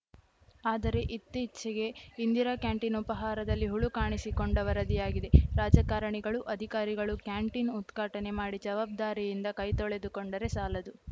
ಆದರೆ ಇತ್ತೀಚೆಗೆ ಇಂದಿರಾ ಕ್ಯಾಂಟಿನ್‌ ಉಪಹಾರದಲ್ಲಿ ಹುಳು ಕಾಣಿಸಿಕೊಂಡ ವರದಿಯಾಗಿದೆ ರಾಜಕಾರಣಿಗಳು ಅಧಿಕಾರಿಗಳು ಕ್ಯಾಂಟಿನ್‌ ಉದ್ಘಾಟನೆ ಮಾಡಿ ಜವಾಬ್ದಾರಿಯಿಂದ ಕೈತೊಳೆದುಕೂಂಡರೆ ಸಾಲದು